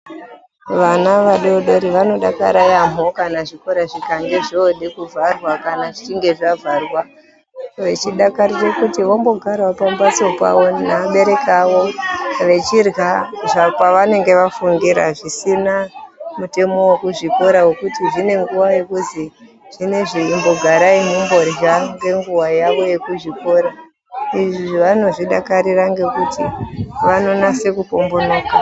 Vana vadoodori vanodakara yambo kana chikora chikange chode kuvharwa kana zvichinge zvavharwa, vanenge vachidakarira kuti vombonyatsogara pambatso pavo nevabereki vavo vachirha zvapavanenge vafungira zvisina mutemo wekuzvikora wekuti zvinenguva yekunzi zvinoizvi chimbogarai mumborha ngenguva yavo yekuzvikora izvi vanozvidakarira ngekuti vanonyatse kupombonoka.